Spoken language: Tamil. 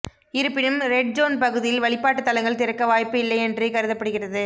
இருப்பினும் ரெட்ஜோன் பகுதியில் வழிபாட்டு தலங்கள் திறக்க வாய்ப்பு இல்லை என்றே கருதப்படுகிறது